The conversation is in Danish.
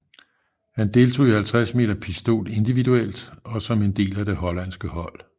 Han deltog i 50 m pistol individuelt og som en del af det hollandske hold